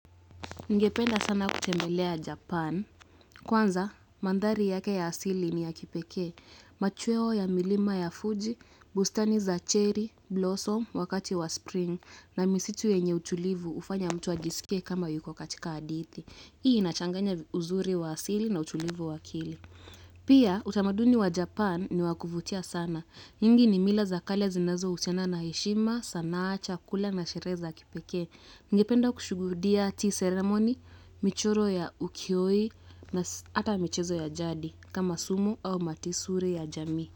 Ningependa sana kutembelea Japan. Kwanza, mandhari yake ya asili ni ya kipekee. Machweo ya milima ya Fuji, bustani za cherry, blossom, wakati wa spring, na misitu yenye utulivu hufanya mtu ajiskie kama yuko katika hadithi. Hii inachanganya uzuri wa asili na utulivu wa akili. Pia, utamaduni wa Japan ni wakuvutia sana. Nyingi ni mila za kale zinazohusiana na heshima, sanaa chakula na sherehe za kipekee. Ningependa kushuhudia tea ceremony, michoro ya ukihoi na hata michezo ya jadi kama sumo au matisuri ya jamii.